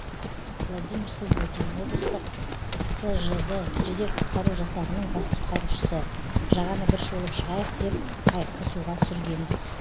владимир субботин облыстық тжд жедел құтқару жасағының бас құтқарушысы жағаны бір шолып шығайық деп қайықты суға түсіргенбіз